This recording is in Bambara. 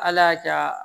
Ala y'a ja